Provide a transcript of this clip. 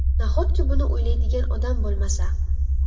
Nahotki buni o‘ylaydigan odam bo‘lmasa?!